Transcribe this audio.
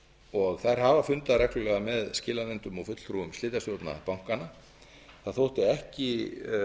og þær hafa fundað reglulega með skilanefndum og fulltrúum slitastjórna bankanna það þótti ekki